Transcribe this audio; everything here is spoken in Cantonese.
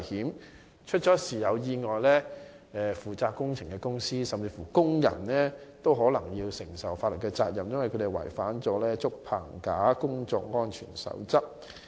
萬一發生意外，負責的工程公司甚至工人也可能要負上法律責任，因為他們違反了《竹棚架工作安全守則》的規定。